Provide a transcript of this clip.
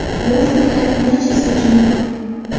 Bu fikrlarning barchasida jon bor.